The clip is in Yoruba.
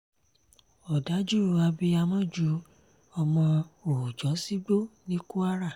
òdàjú abiyamọ ju ọmọ òòjọ́ sígbó ní kwara